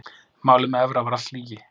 Málið með Evra var allt lygi.